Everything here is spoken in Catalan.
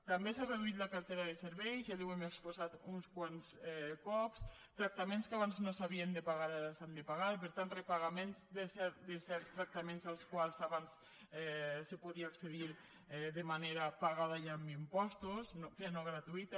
també s’ha reduït la cartera de serveis ja li ho hem exposat uns quants cops tractaments que abans no s’havien de pagar ara s’han de pagar per tant repagaments de certs tractaments als quals abans es podia accedir de manera pagada ja amb impostos que no gratuïta